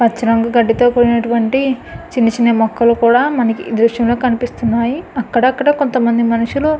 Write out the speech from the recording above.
పచ్చనగా గడ్డితో కూడినటువంటి చిన్న చిన్న మొక్కల్ని కూడా మనకు ఈ దృశ్యంలో కనిపిస్తున్నాయి. అక్కడక్కడా కొంతమంది మనుషులు--